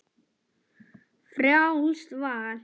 Frjálst val!